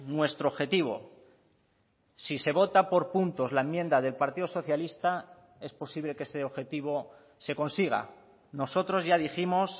nuestro objetivo si se vota por puntos la enmienda del partido socialista es posible que ese objetivo se consiga nosotros ya dijimos